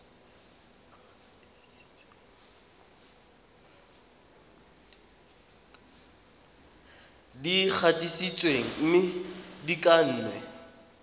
di gatisitsweng mme di kannwe